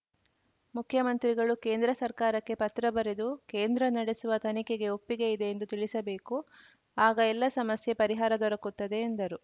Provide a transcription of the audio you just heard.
ಮುಖ್ಯಮಂತ್ರಿಗಳು ಕೇಂದ್ರ ಸರ್ಕಾರಕ್ಕೆ ಪತ್ರ ಬರೆದು ಕೇಂದ್ರ ನಡೆಸುವ ತನಿಖೆಗೆ ಒಪ್ಪಿಗೆ ಇದೆ ಎಂದು ತಿಳಿಸಬೇಕು ಆಗ ಎಲ್ಲ ಸಮಸ್ಯೆ ಪರಿಹಾರ ದೊರಕುತ್ತದೆ ಎಂದರು